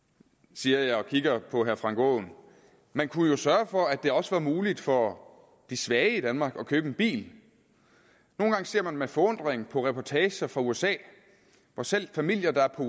siger jeg og kigger på herre frank aaen man kunne jo sørge for at der også var muligt for de svage i danmark at købe en bil nogle gange ser man med forundring på reportager fra usa hvor selv familier der er på